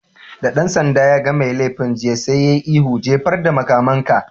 Da ɗan sanda yaga mai laifi jiya, sai ya yi ihu "Jefar da makamanka!